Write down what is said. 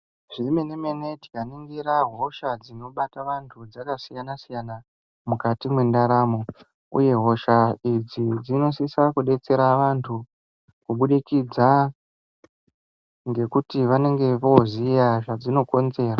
Zvemenemene tikaningira hosha dzinobata vantu dzakasiyana siyana mukati mwendaramo uye hosha idzi dzinosisa kubetsera vantu kubudikidza ngekuti vanenge vooziya zvadzinokonzera.